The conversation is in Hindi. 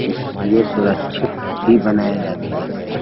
इसमें सुरक्षित ही बनाया जाता ।